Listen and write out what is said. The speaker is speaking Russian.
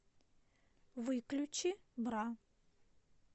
выключи бра